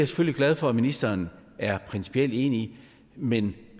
selvfølgelig glad for at ministeren er principielt enig i men